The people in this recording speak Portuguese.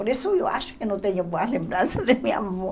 Por isso eu acho que não tenho boas lembranças de minha avó.